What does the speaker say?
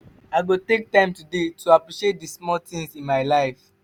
i go take time today to appreciate di small things in my life.